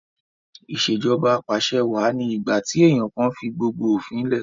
Ìṣèjọba Apàṣẹwà ni ìgbà tí èèyàn kan fi gbogbo òfin lẹ̀